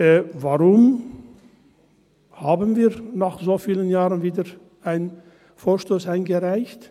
Warum haben wir nach so vielen Jahren wieder einen Vorstoss eingereicht?